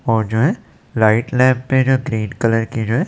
ओजय right left पे जो green colour की जो--